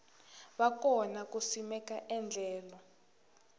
va kona ku simeka endlelo